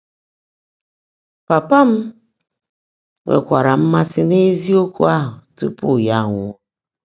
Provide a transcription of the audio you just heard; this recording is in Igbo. Pàpá m nwèkwáárá mmàsị́ n’ézíokwú áhụ́ túpú yá ánwụ́ọ́.